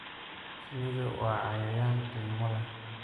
Shinnidu waa cayayaan qiimo leh.